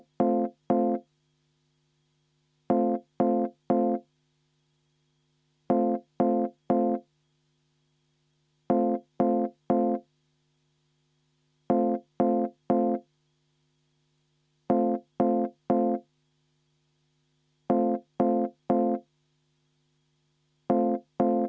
Kümme minutit vaheaega Isamaa fraktsiooni palvel, enne hääletust.